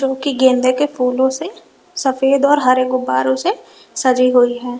की गेंदे के फूलों से सफेद और हरे गुब्बारों से सजी हुई है।